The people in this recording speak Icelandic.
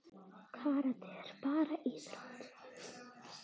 Karate er ekki bara íþrótt.